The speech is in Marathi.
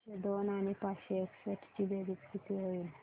सातशे दोन आणि पाचशे एकसष्ट ची बेरीज किती होईल